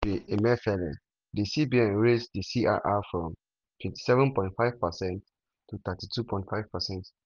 under godwin emefiele di cbn raise di crr from from 27.5 percent to 32.5%.